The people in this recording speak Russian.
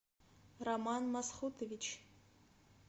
роман масхутович